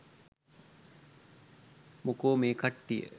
මොකෝ මේ කට්ටිය